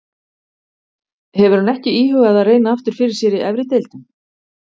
Hefur hann ekki íhugað að reyna aftur fyrir sér í efri deildum?